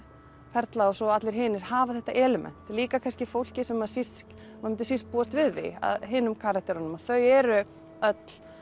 Perla og svo allir hinir hafa þetta element líka fólkið sem maður myndi síst búast við af hinum karakterunum þau eru öll